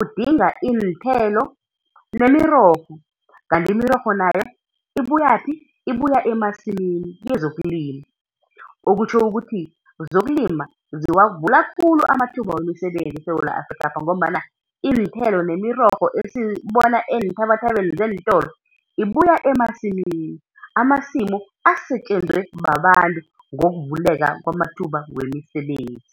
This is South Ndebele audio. udinga iinthelo nemirorho, kanti imirorho nayo ibuyaphi, ibuya emasimini kezokulima, okutjho ukuthi zokulima ziwavula khulu amathuba wemisebenzi eSewula Afrikapha ngombana iinthelo nemirorho esiyibona eenthabathabeni zeentolo ibuya emasimini, amasimu asetjenzwe babantu ngokuvuleka kwamathuba wemisebenzi.